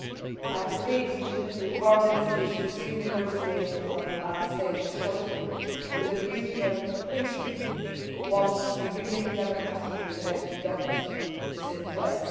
I have agreed with the Tunisian Foreign Minister to resume negotiations on Advanced Status shortly, with a view to their conclusion once a new democratically elected government is in place.